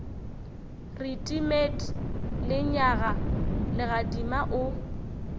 re timet lenyaga legadima o